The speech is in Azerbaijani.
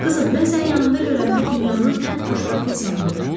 Qızım, mən səni yanımda görəndə dünyanın ən xoşbəxt insanı oluram.